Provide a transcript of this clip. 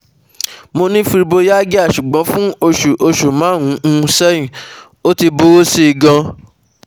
Mo ni fibromyalgia, ṣugbọn fun oṣu oṣu marun-un sẹhin, o ti buru si gan